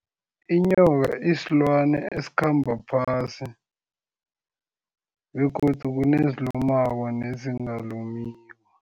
Inyoka isilwane esikhamba phasi begodu kunezilumako nezingalumiko.